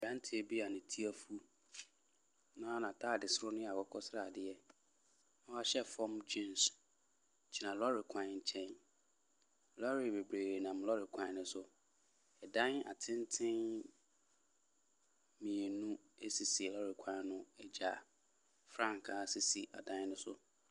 Aberanteɛ bi a ne ti efu na na taade soro no yɛ akokɔsradeɛ na wahyɛ fɔm gyens gyina lɔɔre kwan kyɛn. Lɔɔre bebree nam lɔɔre kwan so. Ɛdan atenten mienu esisi lɔɔre kwan no egya. Frankaa sisi ɛdan ne so.